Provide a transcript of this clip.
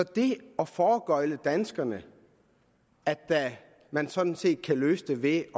det at foregøgle danskerne at man sådan set kan løse det ved